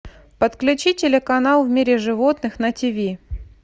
подключи телеканал в мире животных на тиви